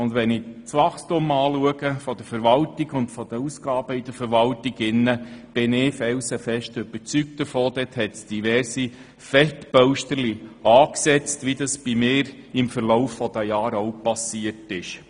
Wenn ich das Wachstum der Verwaltung und ihre Ausgaben anschaue, bin ich davon überzeugt, dass die Verwaltung diverse Fettpölsterchen angesetzt hat, wie es auch mir im Verlauf der Jahre passiert ist.